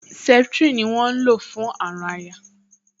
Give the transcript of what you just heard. Septrin ni wọ́n ń lò fún àrùn àyà